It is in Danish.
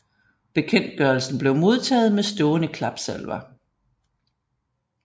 Bekendtgørelsen blev modtaget med stående klapsalver